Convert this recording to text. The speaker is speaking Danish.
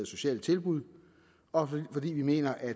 sociale tilbud og fordi vi mener at